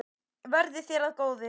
Verði þér að góðu.